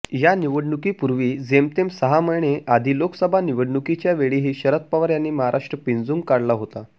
या निवडणुकीपूर्वी जेमतेम सहा महिने आधी लोकसभा निवडणुकीच्यावेळीही शरद पवार यांनी महाराष्ट्र पिंजून काढला होता